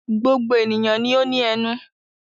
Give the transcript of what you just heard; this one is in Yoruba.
Gbogbo ènìyàn ni ó ní ẹnu.